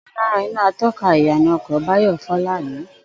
Ò̩kan lára iná ató̩ka ìyànà o̩kò̩ Báyò̩ fó̩ lánàá